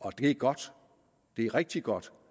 og det er godt det er rigtig godt